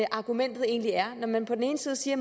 argumentet egentlig er når man på den ene side siger